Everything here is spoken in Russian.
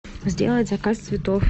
сделать заказ цветов